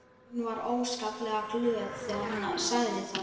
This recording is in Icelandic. Hún var óskaplega glöð þegar hún sagði það.